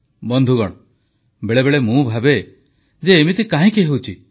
ବନ୍ଧୁଗଣ ବେଳେବେଳେ ମୁଁ ଭାବେ ଯେ ଏମିତି କାହିଁକି ହେଉଛି